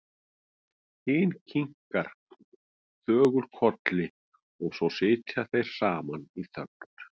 Hinn kinkar þögull kolli og svo sitja þeir saman í þögn.